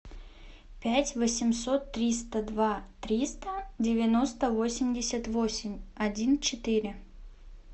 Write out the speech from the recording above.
пять восемьсот триста два триста девяносто восемьдесят восемь один четыре